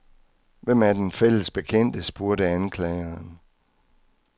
Hvem er denne fælles bekendte, spurgte anklageren.